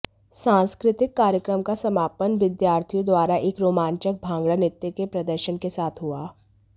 सांस्कृतिक कार्यक्रम का समापन बिद्यार्थियो द्वारा एक रोमांचक भांगड़ा नृत्य के प्रदर्शन के साथ हुआ